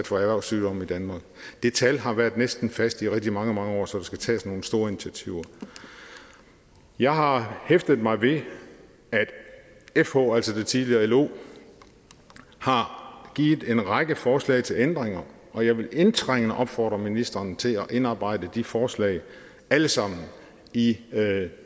for erhvervssygdomme i danmark det tal har været næsten fast i rigtig mange mange år så der skal tages nogle store initiativer jeg har hæftet mig ved at fh altså det tidligere lo har givet en række forslag til ændringer og jeg vil indtrængende opfordre ministeren til at indarbejde de forslag alle sammen i